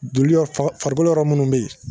Joli bɛ farikolo yɔrɔ minnu bɛ yen